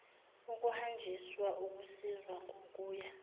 ukuhanjiswa ukusizwa ngokuya